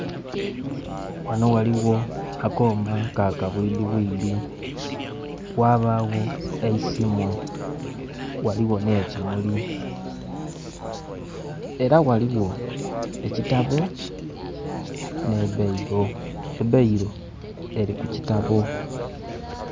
Wano waliwo akooma ka kabwidibwidi wabawo eisimu waliwo nekimuli era waliwo ekitabo ne bairo. Ebairo eri kukitabo